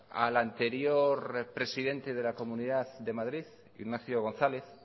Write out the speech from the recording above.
al anterior presidente de la comunidad de madrid ignacio gonzález